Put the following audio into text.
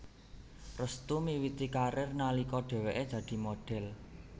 Restu miwiti karir nalika dheweké dadi modhel